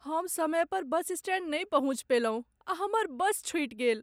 हम समय पर बस स्टैंड नहि पहुँच पयलहुँ आ हमर बस छुटि गेल।